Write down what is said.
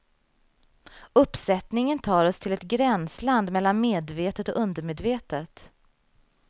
Uppsättningen tar oss till ett gränsland mellan medvetet och undermedvetet.